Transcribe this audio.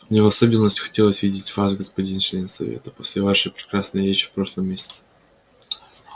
мне в особенности хотелось видеть вас господин член совета после вашей прекрасной речи в прошлом месяце